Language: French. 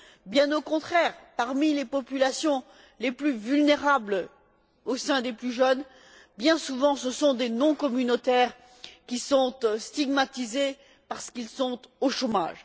Bien au contraire, parmi les populations les plus vulnérables au sein des plus jeunes, bien souvent ce sont des non communautaires qui sont stigmatisés, parce qu'ils sont au chômage.